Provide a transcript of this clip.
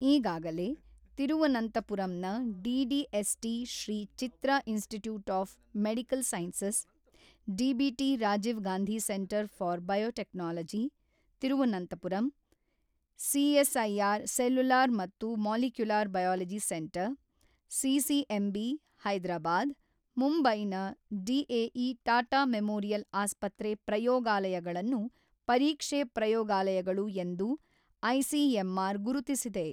ಈಗಾಗಲೇ ತಿರುವನಂತಪುರಂನ D D S T Sree Chitra institute of medical sciences, DBT Rajiv Gandhi centre for biotechnology, Thiruvananthapuram, CSIR cellular ಮತ್ತು molecular biology centre CCMB, Hyderabad, ಮುಂಬೈನ DAE Tata memorial ಆಸ್ಪತ್ರೆ ಪ್ರಯೋಗಾಲಯಗಳನ್ನು ಪರೀಕ್ಷೆ ಪ್ರಯೋಗಾಲಯಗಳು ಎಂದು ಐಸಿಎಂಆರ್ ಗುರುತಿಸಿದೆ.